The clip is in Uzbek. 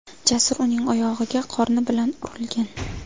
Jasur uning oyog‘iga qorni bilan urilgan.